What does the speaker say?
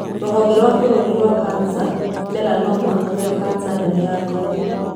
Rũhonge rwa bũrũri rwa kanca. Melanoma nĩyo kanca nene ya ngothi.